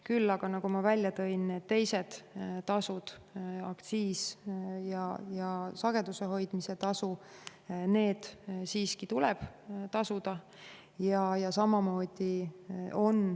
Kuid nagu ütlesin, teised tasud, nagu aktsiis ja sageduse hoidmise tasu, tuleb siiski tasuda.